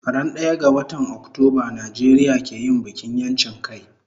Ran daya ga watan Octoba Nijeria ke yin bikin yanchin kai